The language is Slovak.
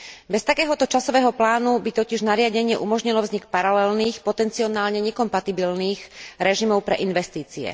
Bez takéhoto časového plánu by totiž nariadenie umožnilo vznik paralelných, potenciálne nekompatibilných režimov pre investície.